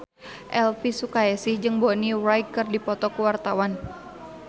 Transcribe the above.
Elvy Sukaesih jeung Bonnie Wright keur dipoto ku wartawan